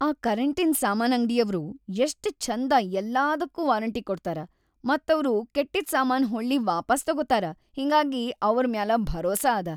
ಆ ಕರೆಂಟಿನ್‌ ಸಾಮಾನ್‌ ಅಂಗ್ಡಿಯವ್ರು ಯಷ್ಟ್‌ ಛಂದ ಯಲ್ಲಾದಕ್ಕೂ ವಾರಂಟಿ ಕೊಡ್ತಾರ ಮತ್‌ ಅವ್ರು ಕೆಟ್ಟಿದ್‌ ಸಾಮಾನ್‌ ಹೊಳ್ಳಿ ವಾಪಾಸ್‌ ತೊಗೊತಾರ ಹಿಂಗಾಗಿ ಅವ್ರ್‌ ಮ್ಯಾಲ ಭರೋಸಾ ಅದ.